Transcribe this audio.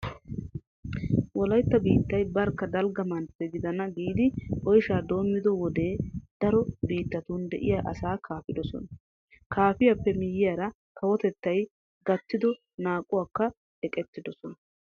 Wolaytta biittay barkka dalgga mantte gidana giidi oyshaa doommido wode daro biittatun de'iya asay kaafidosona. Kaafiyappe miyyiyara kawotettay gattido naaquwakka eqettidosona.